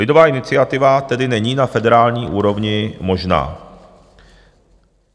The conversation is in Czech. Lidová iniciativa tedy není na federální úrovni možná.